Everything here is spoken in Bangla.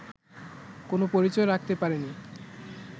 কোনো পরিচয় রাখতে পারেনি